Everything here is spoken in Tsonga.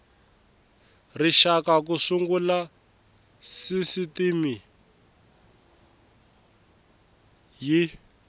rixaka ku sungula sisitimi y